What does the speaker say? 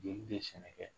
Jeli tɛ sɛnɛ kɛ